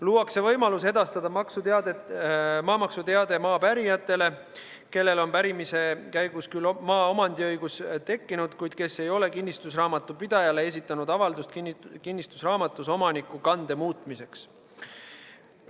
Luuakse võimalus edastada maamaksuteade maa pärijatele, kellel on pärimise käigus küll maaomandiõigus tekkinud, kuid kes ei ole kinnistusraamatupidajale esitanud avaldust kinnistusraamatus omanikukande muutmiseks.